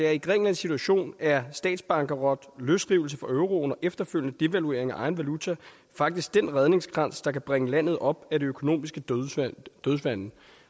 at i grækenlands situation er statsbankerot løsrivelse fra euroen og efterfølgende devaluering af egen valuta faktisk den redningskrans der kan bringe landet op af det økonomiske dødvande